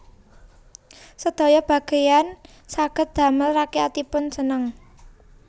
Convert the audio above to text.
Sedaya bageyan saged damel rakyatipun seneng